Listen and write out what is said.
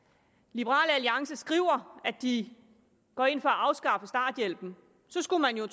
liberal alliance skriver at de går ind for at afskaffe starthjælpen så skulle man jo